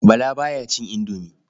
Bala ba ya cin indomi.